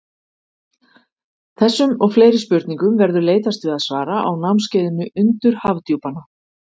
Þessum og fleiri spurningum verður leitast við að svara á námskeiðinu Undur Hafdjúpanna.